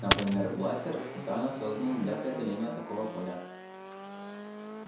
например бластер специально созданный для преодоления такого поля